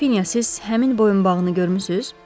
Qrafinya, siz həmin boyunbağını görmüsünüz?